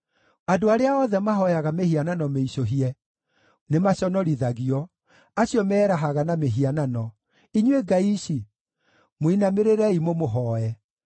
Andũ arĩa othe mahooyaga mĩhianano mĩicũhie nĩmaconorithagio, acio meerahaga na mĩhianano: inyuĩ ngai ici, mũinamĩrĩrei mũmũhooe.